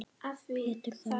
Pétur Þór.